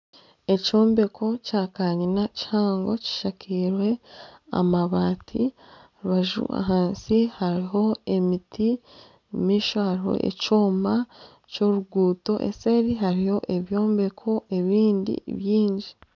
Ekyombeko kya kanyina kihango kishakirwe amabaati aha rubaju ahansi hariho emiti omumaisho hariho ekyoma ky'oruguuto eseeri hariyo ebyombeko ebindi byingi.